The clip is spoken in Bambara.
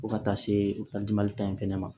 Fo ka taa se o taali mali ta in fɛnɛ ma